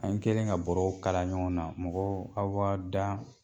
An kɛlen ka bɔrɔw kala ɲɔgɔn na mɔgɔ aw b'aw da